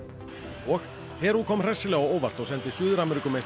og Perú kom hressilega á óvart og sendi Suður